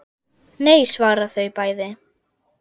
Nei svara þau bæði.